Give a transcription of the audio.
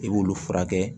I b'olu furakɛ